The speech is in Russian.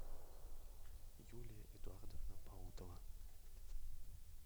юлия эдуардовна паутова